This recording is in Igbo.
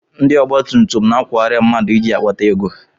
Ndị ọgbatumtum na-akwọgharị mmadụ iji kpata ego.